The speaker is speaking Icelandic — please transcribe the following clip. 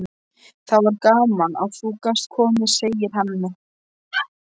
Það var gaman að þú gast komið, segir Hemmi.